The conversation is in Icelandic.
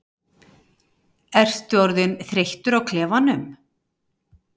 Ertu orðinn þreyttur á klefanum?